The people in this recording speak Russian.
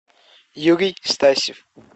юрий стасев